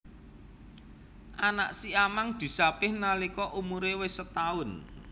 Anak siamang disapih nalika umure wis setaun